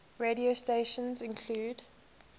radio stations include